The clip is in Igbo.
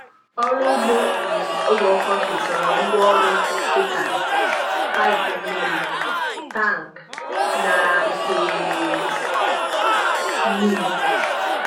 Ọrụ ugbo um oge ọkọchị chọrọ ngwa ọrụ dị ka paịpụ mmiri, tankị, na ite mmiri.